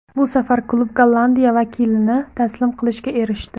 Bu safar klub Gollandiya vakilini taslim qilishga erishdi.